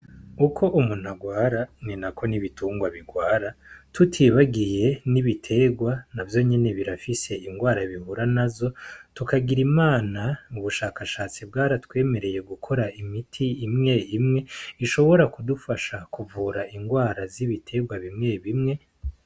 Uko umuntu agwara ninako n'ibitungwa bigwara tutibagiye n'ibiterwa navyo nyene birafise ingwara bihura nazo, tukagira Imana ubushakashatsi bwaratwemereye gukora imiti imwe imwe ushobora kudufasha kuvura ingwara z'ibiterwa bimwe bimwe.